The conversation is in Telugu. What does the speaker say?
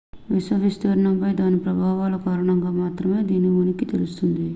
విశ్వ విస్తరణపై దాని ప్రభావాల కారణంగా మాత్రమే దీని ఉనికి తెలుస్తుంది